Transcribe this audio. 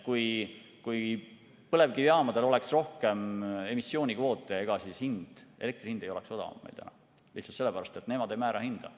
Kui põlevkivijaamadel oleks rohkem emissioonikvoote, ega siis elektri hind ei oleks odavam, lihtsalt sellepärast, et nemad ei määra hinda.